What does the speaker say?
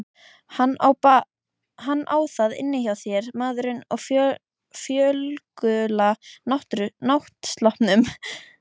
Hann á það inni hjá þér maðurinn á fölgula náttsloppnum.